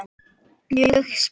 Mjög spennt.